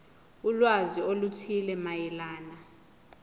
ulwazi oluthile mayelana